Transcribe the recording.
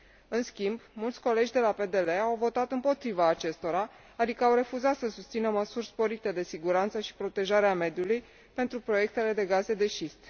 În schimb, mulți colegi de la PDL au votat împotriva acestora, adică au refuzat să susțină măsuri sporite de siguranță și protejare a mediului pentru proiectele de gaze de șist.